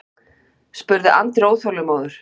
spurði Andri óþolinmóður.